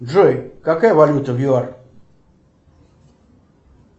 джой какая валюта в юар